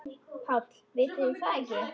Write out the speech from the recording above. PÁLL: Vitið þið það ekki?